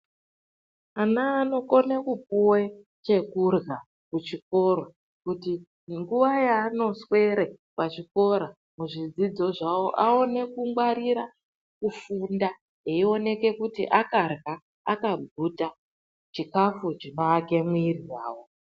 Ana anokone kupuwe chekurya kuchikoro kuti mguva yaanoswere pachikora muzvidzidzo zvawo vaone kugwarire kufunda eioneke kuti akarya akaguta chikafu chinowake muwiri wawo.